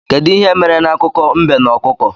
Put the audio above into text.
Kedụ ihe mere na akụkọ mbe na ọkụkọ?